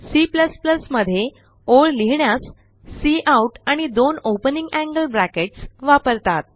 C मध्ये ओळ लिहिण्यास काउट आणि दोन ओपनिंग एंगल ब्रॅकेट्स वापरतात